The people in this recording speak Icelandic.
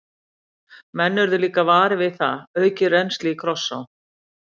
Kristján: Menn urðu líka varir við það, aukið rennsli í Krossá?